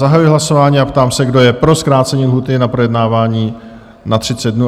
Zahajuji hlasování a ptám se, kdo je pro zkrácení lhůty na projednávání na 30 dnů?